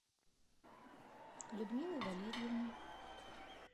людмилы валерьевны